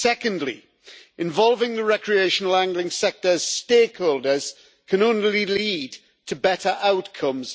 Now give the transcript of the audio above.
Secondly, involving the recreational angling sector's stakeholders can only lead to better outcomes.